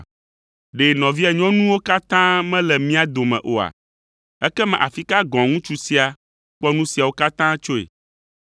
Ɖe nɔvia nyɔnuwo katã mele mía dome oa? Ekema afi ka gɔ̃ ŋutsu sia kpɔ nu siawo katã tsoe?”